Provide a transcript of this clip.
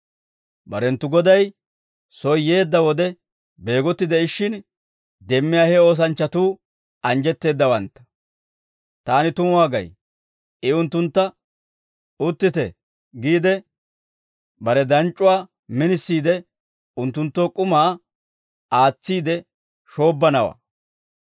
Barenttu Goday soy yeedda wode beegotti de'ishshin demmiyaa he oosanchchatuu anjjetteeddawantta. Taani tumuwaa gay; I unttuntta, ‹Uttite› giide, bare danc'c'uwaa minisiide unttunttoo k'umaa aatsiide shoobbanawaa.